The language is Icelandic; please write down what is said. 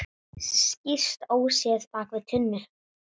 Skýst óséð bak við tunnu.